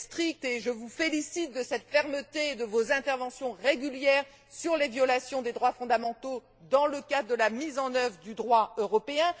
vous êtes stricts, et je vous félicite de cette fermeté ainsi que de vos interventions régulières sur les violations des droits fondamentaux dans le cadre de la mise en œuvre du droit européen.